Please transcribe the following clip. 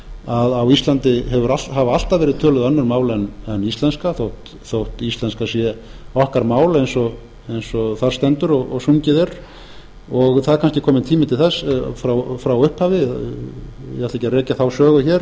að á íslandi hafa alltaf verið töluð önnur mál en íslenska þótt íslenska sé okkar mál eins og þar stendur og sungið er það er kannski kominn tími til þess frá upphafi ég ætla ekki að rekja þá sögu hér